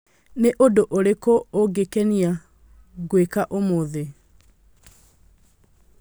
Nĩ ũndũ ũrĩkũ ũngĩkenia ngwĩka ũmũthĩ?